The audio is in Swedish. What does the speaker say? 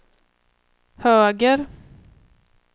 höger